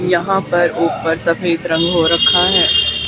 यहां पर ऊपर सफेद रंग हो रखा है।